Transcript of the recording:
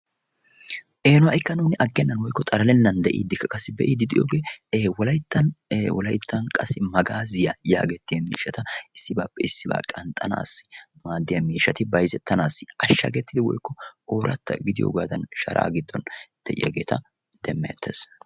eno ha'ikka nuuni aggennan woikko xaralennan de'iidikka kassi be'i diidiyoogee e wolayttan e wolayttan qasi magaaziyaa yaagettiya miishata issibaappe issibaa qanxxanaassi maaddiya miishati bayzettanaassi ashshagettidi woykko ooratta gidiyoogaadan sharaa giddon de'iyaageeta demmeettees.